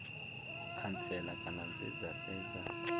khantsela kana dze dza fhedza